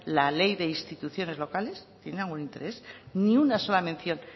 la ley de instituciones locales tienen algún interés ni una sola mención